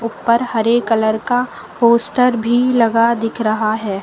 पर हरे कलर का पोस्टर भी लगा दिख रहा है।